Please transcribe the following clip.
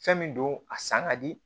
Fɛn min don a san ka di